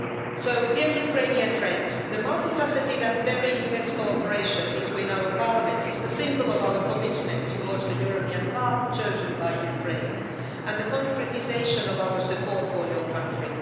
So, dear Ukrainian friends, the multi faceted and very intense cooperation between our parliaments is the symbol of our commitment towards the European path chosen by Ukraine and the concretisation of our support for your country.